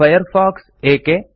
Firefox ಏಕೆ